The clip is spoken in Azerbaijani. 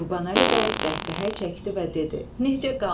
Qurbanəli bəy qəhqəhə çəkdi və dedi: Necə qanmır?